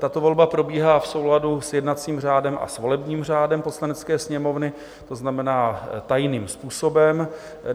Tato volba probíhá v souladu s jednacím řádem a s volebním řádem Poslanecké sněmovny, to znamená tajným způsobem.